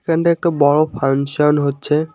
এখান দিয়ে একটা বড় ফানসান হচ্ছে।